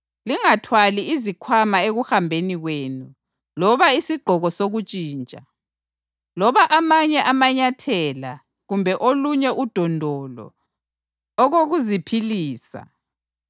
lingathwali izikhwama ekuhambeni kwenu loba isigqoko sokuntshintsha, loba amanye amanyathela kumbe olunye udondolo ngoba osebenzayo kufanele aphiwe okokuziphilisa.